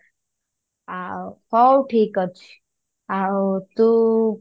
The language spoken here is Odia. ଆଉ ହଉ ଠିକ ଅଛି ଆଉ ତୁ